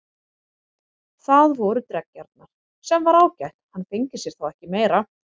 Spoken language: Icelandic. Það voru dreggjarnar, sem var ágætt, hann fengi sér þá ekki meira.